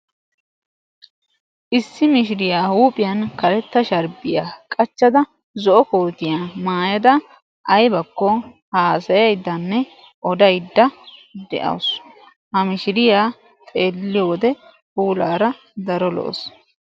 Issi mishiriya huuphiyan karetta shaarbbiya huuphiyan qachchada zo"o kootiya maayada aybakko haasayayddanne odaydda de'awusu. Ha mishiriya xeelliyo wode puulaara daro lo"awus.